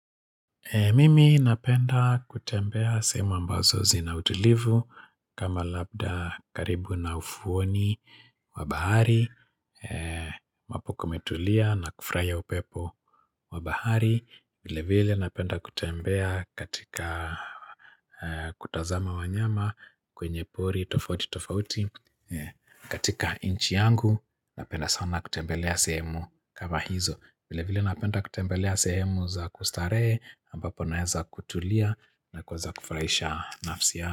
Mimi napenda kutembea semu ambazo zina utulivu kama labda karibu na ufuoni wa bahari ambapu kumetulia na kufurahia upepo wa bahari vile vile napenda kutembea katika kutazama wanyama kwenye pori tofauti tofauti katika nchi yangu napenda sana kutembelea sehemu kama hizo vile vile napenda kutembelea sehemu za kustarehe, ambapo naeza kutulia na kueza kufurahisha nafsia.